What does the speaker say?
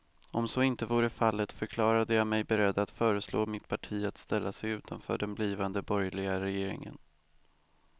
Om så inte vore fallet förklarade jag mig beredd att föreslå mitt parti att ställa sig utanför den blivande borgerliga regeringen.